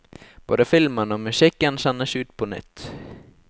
Både filmen og musikken sendes ut på nytt.